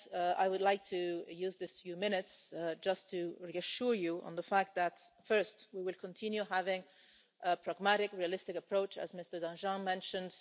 I would like to use these few minutes just to reassure you on the fact that, first, we will continue having a pragmatic, realistic approach as Mr Danjean mentioned.